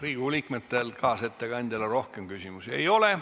Riigikogu liikmetel kaasettekandjale rohkem küsimusi ei ole.